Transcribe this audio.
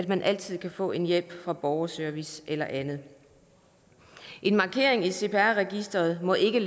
man altid få hjælp fra borgerservice eller andet en markering i cpr registeret må ikke